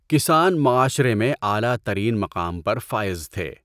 کسان معاشرے میں اعلیٰ ترین مقام پر فائز تھے۔